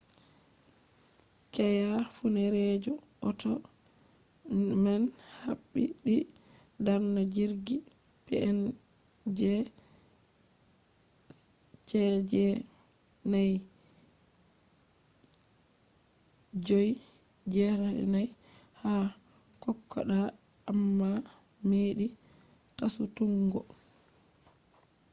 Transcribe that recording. keya funeereejo ota man habdi darna jirgi png cg4684 ha kokoda amma meɗi fasutuggo